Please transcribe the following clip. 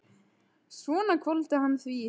Svo hvolfdi hann því í sig.